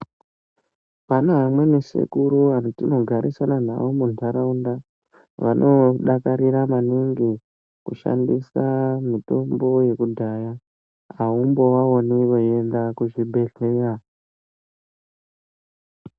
Pane vamweni sekuru vatinogarisana navo munharaunda, vanodakarira maningi kushandisa mitombo yekudhaya ,aumbovaoni veiende kuchibhehlera.